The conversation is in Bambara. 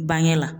Bange la